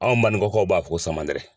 Anw baningɔkaw b'a fɔ samanɛrɛ.